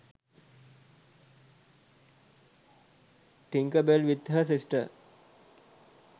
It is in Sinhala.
tinkerbell with her sister